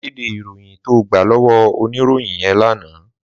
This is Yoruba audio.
Má kédé iróyin tó gbá lòwò óniróyìn yèn làná